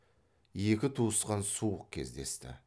екі туысқан суық кездесті